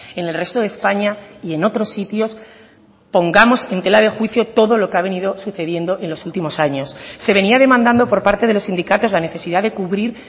en el resto de españa y en otros sitios pongamos en tela de juicio todo lo que ha venido sucediendo en los últimos años se venía demandando por parte de los sindicatos la necesidad de cubrir